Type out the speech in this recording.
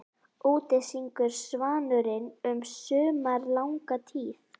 Úti syngur svanurinn um sumarlanga tíð.